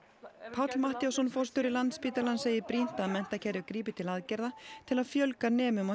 Páll Matthíasson forstjóri Landspítalans segir brýnt að menntakerfið grípi til aðgerða til að fjölga nemum á